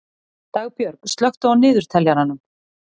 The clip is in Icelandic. Dagbjörg, slökktu á niðurteljaranum.